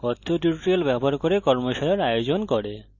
কথ্য tutorials ব্যবহার করে কর্মশালার আয়োজন করে